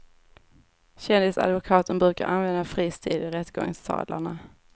Kändisadvokaten brukar använda fri stil i rättegångssalarna.